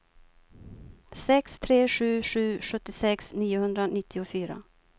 sex tre sju sju sjuttiosex niohundranittiofyra